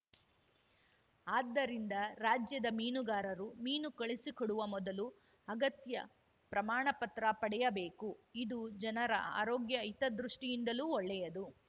ಆದ್ದರಿಂದ ರಾಜ್ಯದ ಮೀನುಗಾರರು ಮೀನು ಕಳುಹಿಸುಕೊಡುವ ಮೊದಲು ಅಗತ್ಯ ಪ್ರಮಾಣಪತ್ರ ಪಡೆಯಬೇಕು ಇದು ಜನರ ಆರೋಗ್ಯ ಹಿತದೃಷ್ಟಿಯಿಂದಲೂ ಒಳ್ಳೆಯದು